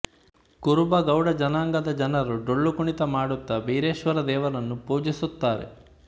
ಕುರುಬ ಗೌಡ ಜನಾಂಗದ ಜನರು ಡೊಳ್ಳು ಕುಣಿತ ಮಾಡುತ್ತಾ ಬೀರೇಶ್ವರ ದೇವರನು ಪೂಜಿಸುತ್ತಾರೆ